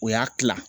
O y'a kila